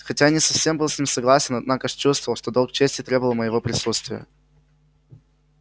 хотя я не совсем был с ним согласен однако ж чувствовал что долг чести требовал моего присутствия